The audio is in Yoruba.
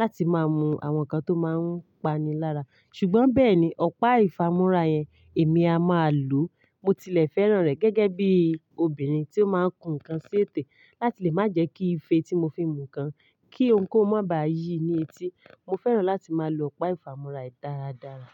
láti máa mu àwọn nǹkan tó máa ń pani lára, ṣùgbọ́n bẹ́ẹ̀ ni ọ̀pá ìfámúrá yẹn èmi a máa lò. Mo tilẹ̀ fẹ́ràn rẹ̀ gẹ́gẹ́ bí obìnrin tí ó máa ń kun ǹkan sí ètè láti lè má jẹ́kí ìfẹ́ tí mo fi ń mu ǹkan kí ohunkóhun ná baa yìí ní etí. Mo fẹ́ràn láti máa lo ọ̀pá ìfámúrá dáradára.